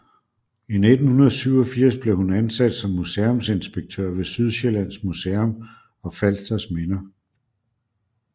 I 1987 blev hun ansat som museumsinspektør ved Sydsjællands Museum og Falsters Minder